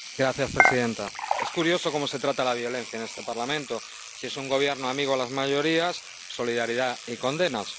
Señora presidenta, es curioso cómo se trata la violencia en este Parlamento si es un gobierno amigo de las mayorías, solidaridad y condenas